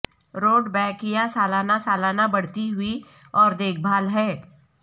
Rudbeckia سالانہ سالانہ بڑھتی ہوئی اور دیکھ بھال ہے